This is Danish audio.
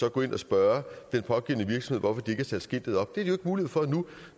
at gå ind og spørge den pågældende virksomhed har sat skiltet op det har mulighed for nu